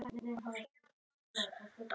Þau eiga saman fjögur börn.